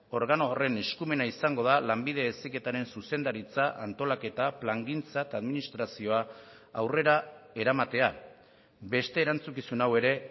organo horren eskumena izango da lanbide heziketaren zuzendaritza antolaketa plangintza eta administrazioa aurrera eramatea beste erantzukizun hau ere